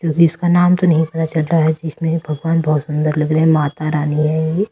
क्योंकि इसका नाम तो नहीं पता चल रहा है इसमें भगवान बहुत सुंदर लग रहे हैं माता रानी है ये।